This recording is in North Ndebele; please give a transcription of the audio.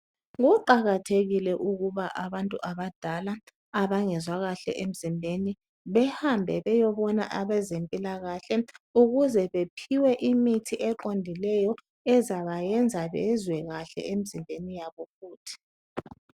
Kuqakathekile ukuba abantu abadala abangezwa kahle emzimbeni behambe beyebona abezempilakahle ukuze bephiwe imithi eqondileyo ezabayenza bezwe kahle emzimbeni yabo futhi.